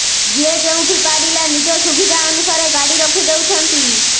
ଯିଏ ଯେଉଁଠି ପାରିଲା ନିଜ ସୁବିଧା ଅନୁସାରେ ଗାଡ଼ି ରଖି ଦେଉଛନ୍ତି